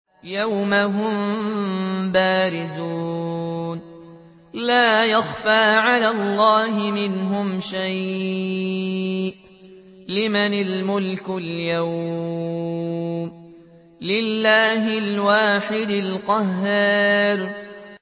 يَوْمَ هُم بَارِزُونَ ۖ لَا يَخْفَىٰ عَلَى اللَّهِ مِنْهُمْ شَيْءٌ ۚ لِّمَنِ الْمُلْكُ الْيَوْمَ ۖ لِلَّهِ الْوَاحِدِ الْقَهَّارِ